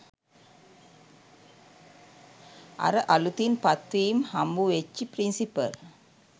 අර අළුතින් පත්වීම් හම්බුවෙච්චි “ප්‍රින්සිපල්